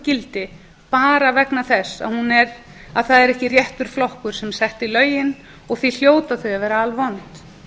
gildi bara vegna þess að það er ekki réttur flokkur sem setti lögin og því hljóta þau að vera alvond